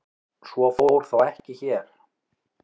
Svo fór þó ekki hér.